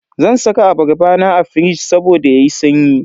Zan saka abarba na a firij saboda yayi sanyi.